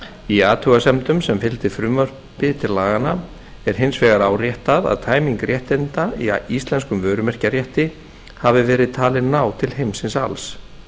í athugasemdum sem fylgdu frumvarpi til laganna er hins vegar áréttað að tæming réttinda í íslenskum vörumerkjarétti hafi verið talin ná til heimsins alls